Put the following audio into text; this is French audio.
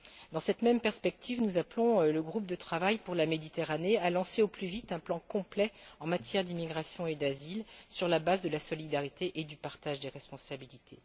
Dans cette même perspective, nous appelons le groupe de travail pour la Méditerranée à lancer au plus vite un plan complet en matière d'immigration et d'asile, sur la base de la solidarité et du partage des responsabilités.